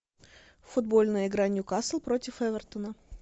футбольная игра ньюкасл против эвертона